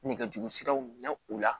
Nɛgɛjurusiraw minɛ u la